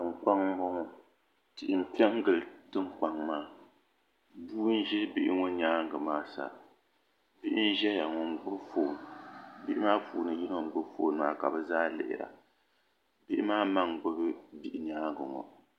Tiŋkpaŋ n boŋɔ tihi m pe n gili tiŋkpaŋ maa bua n ʒɛ bibihi ŋɔ nyaanga maa sa bihi n ʒɛya n gbibi fon bihi maa puuni yino n gbibi fon maa ka bɛ zaa lihira bihi maa ma n gbibi bihi nyaanga ŋɔ.